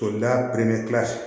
O la